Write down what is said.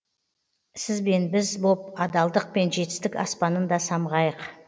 сіз бен біз боп адалдық пен жетістік аспанын да самғайық